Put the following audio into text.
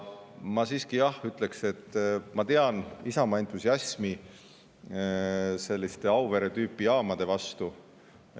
Ma siiski ütleksin, et, jah, ma tean Isamaa entusiasmi selliste Auvere-tüüpi jaamade vastu.